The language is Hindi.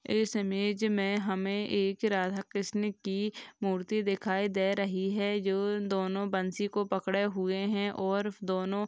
इस इमेज मे हमे एक राधा कृष्ण की मूर्ति दिखाई दे रही है। जो दोनों बंसी को पकड़े हुए है और दोनों --